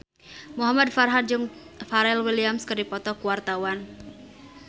Muhamad Farhan jeung Pharrell Williams keur dipoto ku wartawan